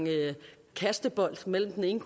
kasten bold mellem den ene